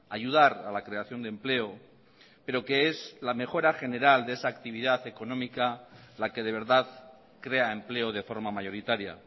ayudar a la creación de empleo pero que es la mejora general de esa actividad económica la que de verdad crea empleo de forma mayoritaria